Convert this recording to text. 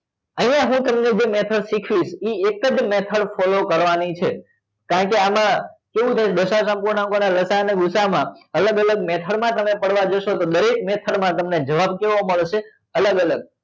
અહિયાં મેં તમને જે method શીખવીશ એ એક જ method કરવા ની છે કારણ કે આમાં કેવું છે દશાંસ અપૂર્ણાંક ના લસા અ અને ગુસા માં અલગ અલગ method માં તમે પડવા જશો તો દરેક method માં તમને જવાબ કેવો મળશે અલગ અલગ